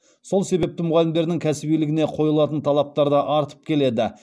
сол себепті мұғалімдердің кәсібилігіне қойылатын талаптар да артып келеді